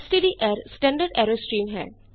ਸਟਡਰ standard error stream ਹੈ